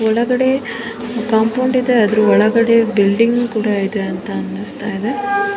ಒಳಗಡೆ ಕಾಂಪೌಂಡ್ ಇದೆ ಅದರ ಒಳಗಡೆ ಬಿಲ್ಡಿಂಗ್ ಕೂಡ ಇದೆ ಅನ್ನಿಸ್ತಾಯಿದೆ.